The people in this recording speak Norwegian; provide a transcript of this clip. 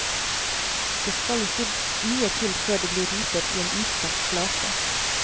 Det skal ikke mye til før det blir riper i en utsatt flate.